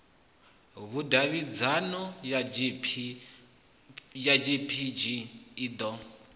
vhudavhidzano ya gpg i ḓo